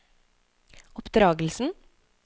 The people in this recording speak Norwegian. oppdragelsen